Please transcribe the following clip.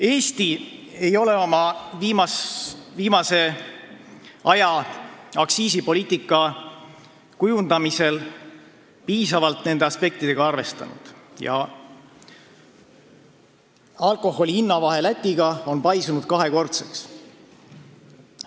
Eesti ei ole oma viimase aja aktsiisipoliitika kujundamisel nende aspektidega piisavalt arvestanud ja alkoholi hinnavahe Lätiga on paisunud kahekordseks.